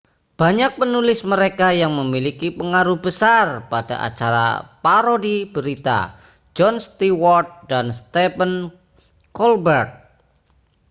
banyak penulis mereka yang memiliki pengaruh besar pada acara parodi berita jon stewart dan stephen colbert